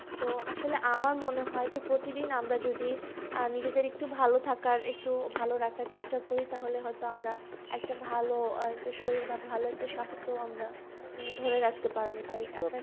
তো আসলে আমার মনে হয় যে প্রতিদিন আমরা যদি আহ নিজেদের একটু ভালো থাকার একটু ভালো রাখার চেষ্টা করি তাহলে হয়তো আমরা একটা ভালো আহ একটা শরীর একটা ভালো একটা স্বাস্থ্য আমরা ধরে রাখতে পারবো